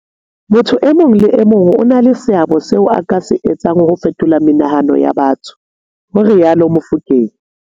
Motho e mong le e mong o na le seabo seo a ka se etsang ho fetola menahano ya batho, ho rialo Mofokeng.